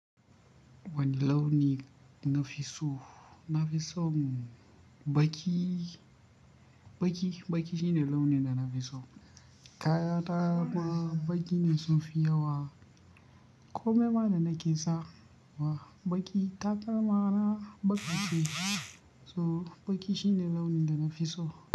Wani launi na fi so? Na fi son baƙi. Baƙi, baƙi shine launin da na fi so. Kaya ta ma baƙi ne sunfi yawa. Komai ma da nake sawa baƙi. Takalma na baƙaƙe. To baƙi shine launin da na fi so.